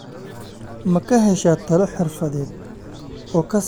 Ma ka heshaa talo xirfadeed oo ku saabsan maaraynta xoolaha?